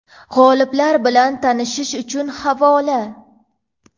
G‘oliblar bilan tanishish uchun havola.